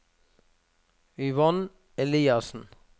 Yvonne Eliassen